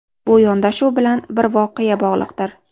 Bu yondashuv bilan bir voqea bog‘liqdir.